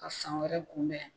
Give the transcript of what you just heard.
Ka san wɛrɛ kunbɛn